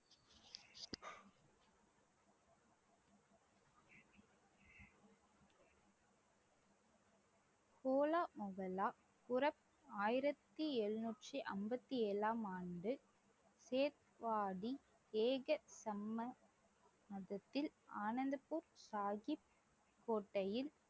ஓலா முஹல்லா ஆயிரத்தி எழுநூற்றி அம்பத்தி ஏழாம் ஆண்டு ஏக~ சம்ம~ மதத்தில் ஆனந்தபூர் சாஹிப்